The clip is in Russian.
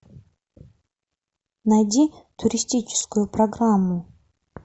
найди туристическую программу